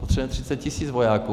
Potřebujeme 30 tis. vojáků.